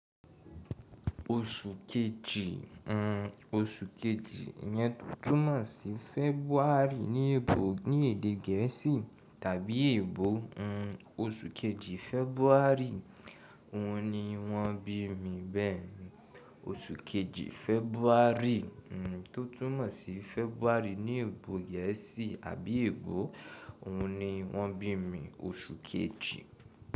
Oṣù kejì o, oṣù kejì yẹn túmọ̀ sí February ní èbò ní èdè gẹ̀ẹ́sì tàbí èbò o. Oṣù kejì February òun ni wọ́n bí mi bẹ́ẹ̀. Oṣù kejì February tó túmọ̀ sí February ní èbò gẹ̀ẹ́sì àbí èbò òun ni wọ́n bí mi oṣù kejì.